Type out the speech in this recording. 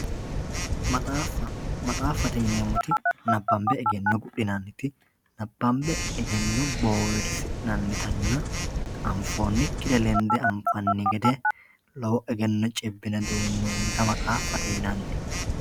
maxaaffa maxaaffate yineemmoti nabbanbe egenno gudhinanniti nabbanbe egenno boowirsi'natanna anfoonnikkire lende anfanni gede lowo egenno cibbine duunnoonnita maxaaffate yinanni